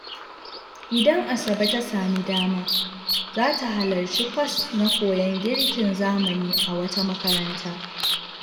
Idan Asabe ta sami dama, za ta halarci kwas na koyon girkin zamani a wata makaranta.